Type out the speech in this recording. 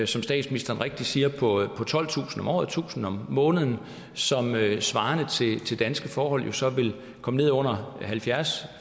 som statsministeren rigtigt siger på tolvtusind om året tusind om måneden som svarende til danske forhold jo så vil komme ned under halvfjerds